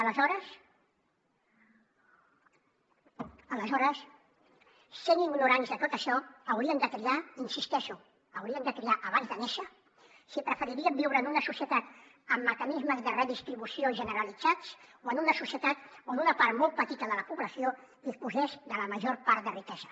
aleshores sent ignorants de tot això haurien de triar hi insisteixo ho haurien de triar abans de néixer si preferirien viure en una societat amb mecanismes de redistribució generalitzats o en una societat on una part molt petita de la població disposés de la major part de riquesa